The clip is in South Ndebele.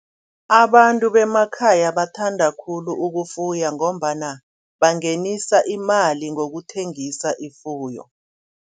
Abantu bemakhaya bathanda khulu ukufuya ngombana bungenisa iimali ngokuthengisa ifuyo.